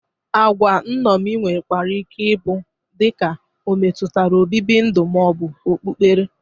Agwa nṅomi nwekwara ike ị bụ dịka o metutara obibi ndu ma ọ bụ okpukpere.